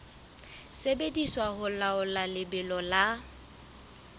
sebediswa ho laola lebelo la